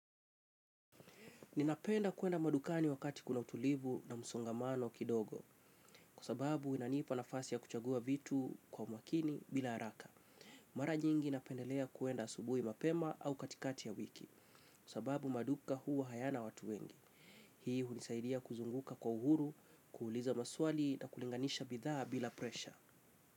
Ninapenda kuenda madukani wakati kuna utulivu na msongamano kidogo, kwa sababu inaniipa nafasi ya kuchagua vitu kwa umakini bila haraka. Mara nyingi napendelea kuenda asubuhi mapema au katikati ya wiki, kwa sababu maduka huwa hayana watu wengi. Hii hunisaidia kuzunguka kwa uhuru, kuuliza maswali na kulinganisha bidhaa bila presha.